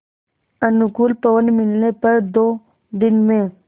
अनुकूल पवन मिलने पर दो दिन में